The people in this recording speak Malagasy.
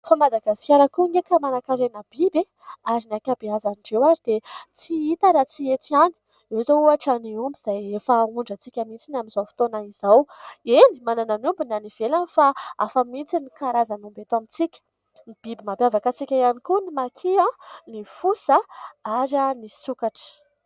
Fa Madagasikara koa ange ka manan-karena biby e ! Ary ny ankabeazan'ireo ary dia tsy hita raha tsy eto ihany. Ireo izao ohatra : ny omby izay efa ahondrantsika mihitsy ny amin'izao fotoana izao. Eny, manana ny omby ny any ivelany fa hafa mihitsy ny karazany omby eto amintsika ; biby mampiavaka antsika ihany koa ny maki, ny fosa ary ny sokatra.